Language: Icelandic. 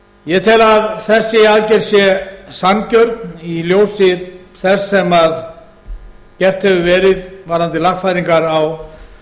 ég tel að þessi aðgerð sé sanngjörn í ljósi þess sem gert hefur verið varðandi lagfæringar á